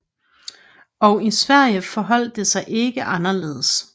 Og i Sverige forholdt det sig ikke anderledes